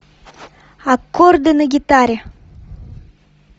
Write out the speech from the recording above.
аккорды на гитаре